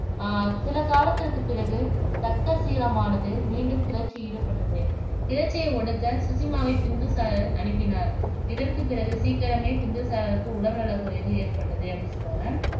ஆஹ் சில காலத்திற்குப் பிறகு தக்சசீலமானது மீண்டும் கிளர்ச்சி ஈடுபட்டது. கிளர்ச்சியை ஒடுக்கச் சுசிமாவைப் பிந்துசாரர் அனுப்பினார் இதற்குப் பிறகு சீக்கிரமே, பிந்துசாரருக்கு உடல் நலக்குறைவு ஏற்பட்டது அப்படின்னு சொல்றாங்க